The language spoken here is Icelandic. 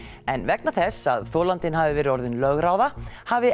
en vegna þess að þolandinn hafi verið orðinn lögráða hafi